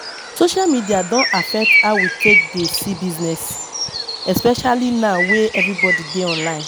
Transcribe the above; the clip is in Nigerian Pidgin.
Social media don affect how we take dey see business especially now wey everybody dey online